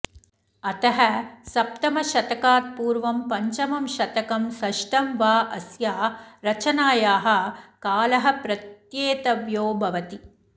अतः सप्तमशतकात्पूर्वं पञ्चमं शतकं षष्ठं वाऽस्या रचनायाः कालः प्रत्येतव्यो भवति